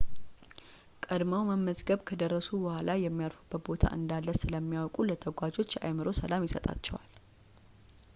ቀድመው መመዝገብ ከደረሱ በኋላ የሚያርፉበት ቦታ እንዳለ ስለሚያውቁ ለተጓዦች የአእምሮ ሰላም ይሰጣቸዋል